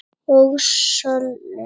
og sölum.